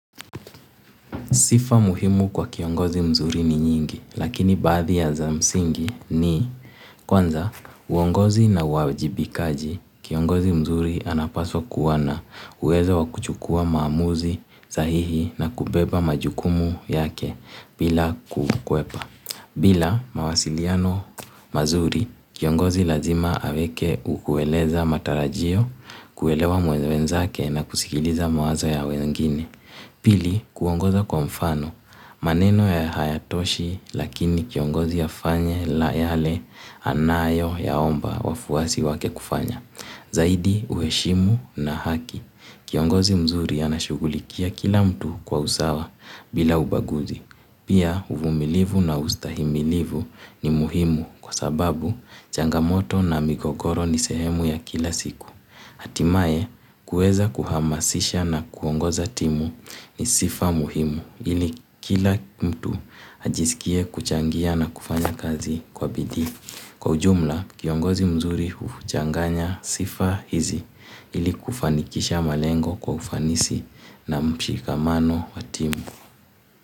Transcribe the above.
Sifa muhimu kwa kiongozi mzuri ni nyingi, lakini bathi ya za msingi ni kwanza, uongozi na wajibikaji, kiongozi mzuri anapaswa kuwa na uwezo wakuchukua maamuzi, zahihi na kubeba majukumu yake bila kukwepa. Bila mawasiliano mazuri, kiongozi lazima aweke ukueleza matarajio, kuelewa muweza wenzake na kusikiliza mawazo ya wengine. Pili, kuongoza kwa mfano. Maneno ya hayatoshi lakini kiongozi yafanye la yale anayo yaomba wafuasi wake kufanya. Zaidi, uheshimu na haki. Kiongozi mzuri anashugulikia kila mtu kwa usawa bila ubaguzi. Pia, uvumilivu na ustahimilivu ni muhimu kwa sababu changamoto na migogoro ni sehemu ya kila siku. Hatimae kueza kuhamasisha na kuongoza timu ni sifa muhimu ili kila mtu ajisikie kuchangia na kufanya kazi kwa bidhi. Kwa ujumla kiongozi mzuri uchanganya sifa hizi ili kufanikisha malengo kwa ufanisi na mshikamano wa timu.